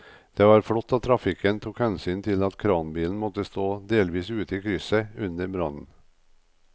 Det var flott at trafikken tok hensyn til at kranbilen måtte stå delvis ute i krysset under brannen.